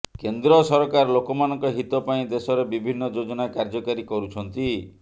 କେନ୍ଦ୍ର ସରକାର ଲୋକମାନଙ୍କ ହିତ ପାଇଁ ଦେଶରେ ବିଭିନ୍ନ ଯୋଜନା କାର୍ଯ୍ୟକାରୀ କରୁଛନ୍ତି